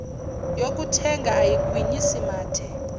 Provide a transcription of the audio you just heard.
yokuthenga ayigwinyisi mathe